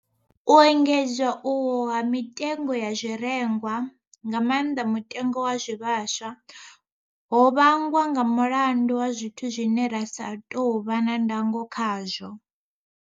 U engedzea uhu ha mitengo ya zwirengwa, nga maanḓa mutengo wa zwivhaswa, ho vhangwa nga mulandu wa zwithu zwine ra sa tou vha na ndango khazwo.